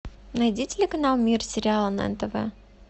найди телеканал мир сериала на нтв